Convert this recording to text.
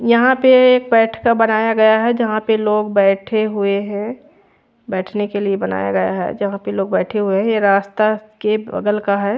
यहाँ पे एक बैठ का बनाया गया है जहाँ पे लोग बैठे हुए है बैठ ने के लिए बनाया गया है जहाँ पे लोग बैठे हुए है या रास्ता के बगल का है।